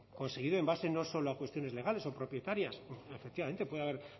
conseguido en base no solo a cuestiones legales o propietarias efectivamente puede haber